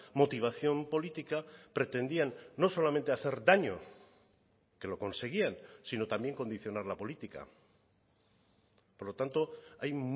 motivación política pretendían no solamente hacer daño que lo conseguían sino también condicionar la política por lo tanto hay